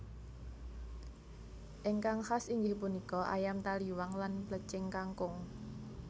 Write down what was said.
Ingkang khas inggih punika Ayam taliwang lan Plecing kangkung